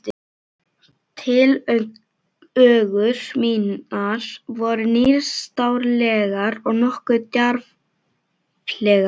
Tillögur mínar voru nýstárlegar og nokkuð djarflegar.